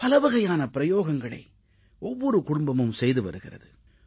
பலவகையான பிரயோகங்களை ஒவ்வொரு குடும்பமும் செய்து வருகிறது